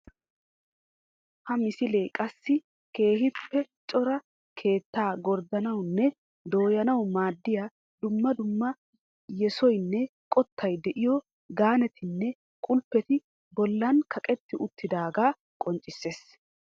Ha misilee qassi keehippe cora keettaa gorddanawunne dooyanawu maaddiya dumma dumma yesoynne qottay de"iyo gaanetinne qulppeti bollan kaqetti uttidoogaa qonccissees